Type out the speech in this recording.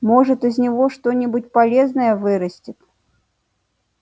может из него что-нибудь полезное вырастет